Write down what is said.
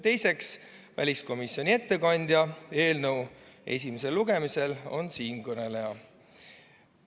Teiseks, väliskomisjoni ettekandja eelnõu esimesel lugemisel on siinkõneleja.